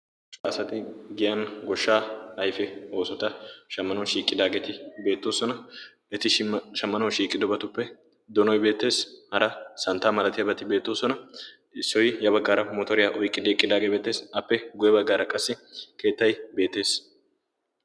Macca asati giyan goshshaa ayfe oosota shammanawu shiiqqidaageeti beettoosona eti shammanawu shiiqqidobatuppe doonoy beettees hara santta malatiyaabalati beettoosona issoy ya baggaara mootoriyaa oyqqidi eqqidaagee beettees appe guye baggaara qassi keettay beetees